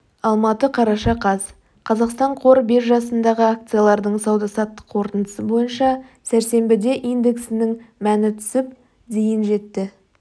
алматы қараша қаз қазақстан қор биржасындағы акциялардың сауда-саттық қорытындысы бойынша сәрсенбіде индексінің мәні түсіп дейін жетті